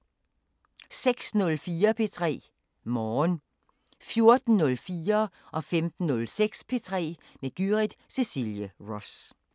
06:04: P3 Morgen 14:04: P3 med Gyrith Cecilie Ross 15:06: P3 med Gyrith Cecilie Ross